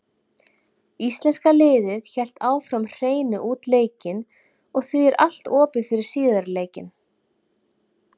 Íslenska liðið hélt áfram hreinu út leikinn og því er allt opið fyrir síðari leikinn.